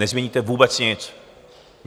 Nezměníte vůbec nic.